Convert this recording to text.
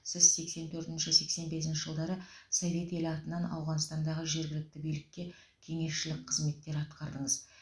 сіз сексен төртінші сексен бесінші жылдары совет елі атынан ауғанстандағы жергілікті билікке кеңесшілік қызметтер атқардыңыз